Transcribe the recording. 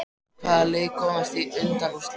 Hvaða lið komast í undanúrslit?